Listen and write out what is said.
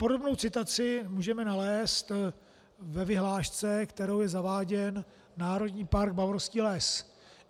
Podobnou citaci můžeme nalézt ve vyhlášce, kterou je zaváděn Národní park Bavorský les.